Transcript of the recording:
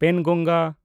ᱯᱮᱱᱜᱚᱝᱜᱟ